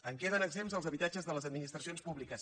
en queden exempts els habitatges de les administracions públiques